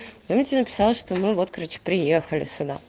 я тебе написала что мы вот короче приехали сюда